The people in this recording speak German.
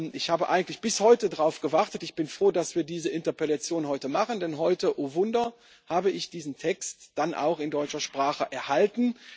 Ich habe eigentlich bis heute darauf gewartet und bin froh, dass wir diese Interpellation heute machen, denn heute oh Wunder habe ich diesen Text dann auch in deutscher Sprache erhalten.